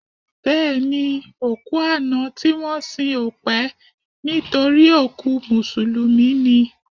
Bẹ́ẹ̀ni, òkú àná tí wọ́n sìn ò pẹ́ nítorí òkú Mùsùlùmí ni